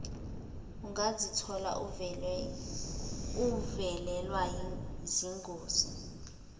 ungazithola uvelelwa zingozi